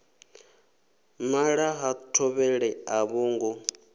nala ha thovhele a vhongo